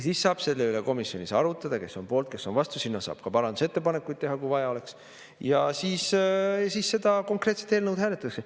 Siis saab selle üle komisjonis arutada, et kes on poolt, kes on vastu, selle kohta saab ka parandusettepanekuid teha, kui vaja on, ja siis seda konkreetset eelnõu hääletatakse.